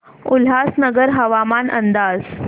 उल्हासनगर हवामान अंदाज